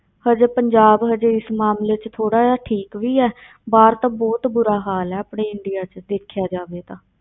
ਹਜੇ ਪੰਜਾਬ ਹਜੇ ਇਸ ਮਾਮਲੇ ਵਿੱਚ ਥੋੜ੍ਹਾ ਜਿਹਾ ਠੀਕ ਵੀ ਹੈ ਬਾਹਰ ਤਾਂ ਬਹੁਤ ਬੁਰਾ ਹਾਲ ਹੈ ਆਪਣੇ ਇੰਡੀਆ ਵਿੱਚ ਦੇਖਿਆ ਜਾਵੇ ਤਾਂ।